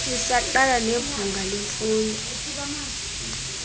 isaqa nebhunga lemfundo